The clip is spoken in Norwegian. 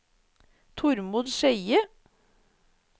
Tormod Skeie